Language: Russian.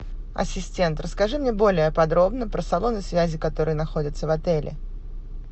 ассистент расскажи мне более подробно про салоны связи которые находятся в отеле